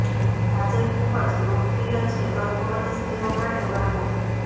આજે ખૂબ જ લોકપ્રિય છે ગર્ભવતી સ્ત્રીઓ માટે વર્ગો